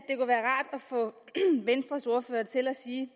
få venstres ordfører til at sige